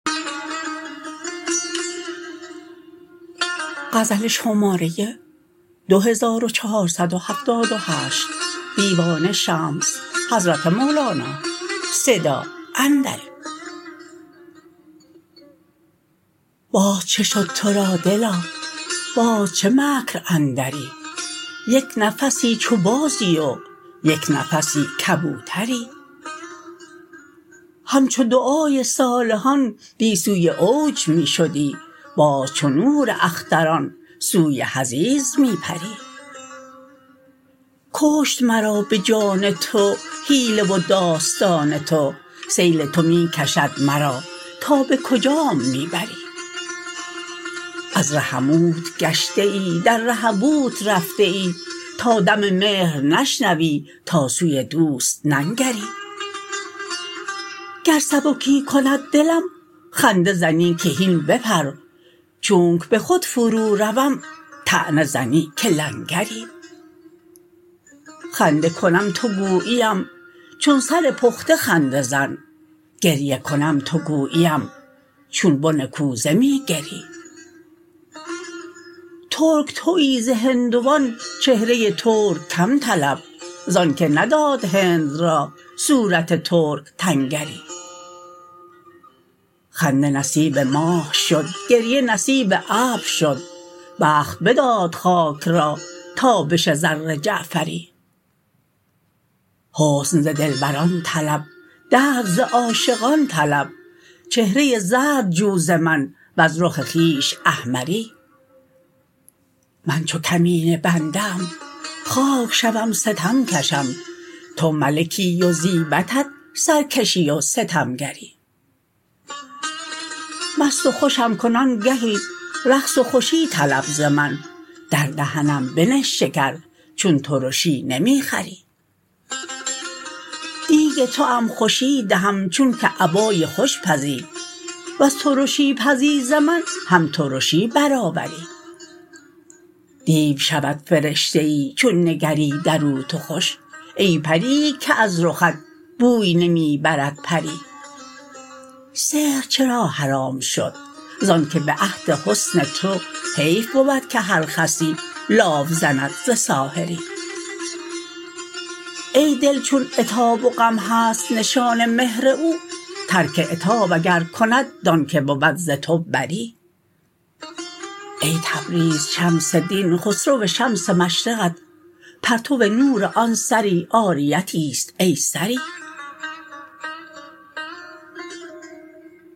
باز چه شد تو را دلا باز چه مکر اندری یک نفسی چو بازی و یک نفسی کبوتری همچو دعای صالحان دی سوی اوج می شدی باز چو نور اختران سوی حضیض می پری کشت مرا به جان تو حیله و داستان تو سیل تو می کشد مرا تا به کجام می بری از رحموت گشته ای در رهبوت رفته ای تا دم مهر نشنوی تا سوی دوست ننگری گر سبکی کند دلم خنده زنی که هین بپر چونک به خود فروروم طعنه زنی که لنگری خنده کنم تو گوییم چون سر پخته خنده زن گریه کنم تو گوییم چون بن کوزه می گری ترک توی ز هندوان چهره ترک کم طلب ز آنک نداد هند را صورت ترک تنگری خنده نصیب ماه شد گریه نصیب ابر شد بخت بداد خاک را تابش زر جعفری حسن ز دلبران طلب درد ز عاشقان طلب چهره زرد جو ز من وز رخ خویش احمری من چو کمینه بنده ام خاک شوم ستم کشم تو ملکی و زیبدت سرکشی و ستمگری مست و خوشم کن آنگهی رقص و خوشی طلب ز من در دهنم بنه شکر چون ترشی نمی خوری دیگ توام خوشی دهم چونک ابای خوش پزی ور ترشی پزی ز من هم ترشی برآوری دیو شود فرشته ای چون نگری در او تو خوش ای پرییی که از رخت بوی نمی برد پری سحر چرا حرام شد ز آنک به عهد حسن تو حیف بود که هر خسی لاف زند ز ساحری ای دل چون عتاب و غم هست نشان مهر او ترک عتاب اگر کند دانک بود ز تو بری ای تبریز شمس دین خسرو شمس مشرقت پرتو نور آن سری عاریتی است ای سری